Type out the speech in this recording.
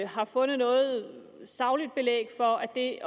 har fundet noget sagligt belæg for at det